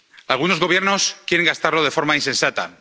algunos Gobiernos quieren gastarlo de forma insensata.